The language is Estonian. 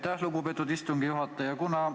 Aitäh, lugupeetud istungi juhataja!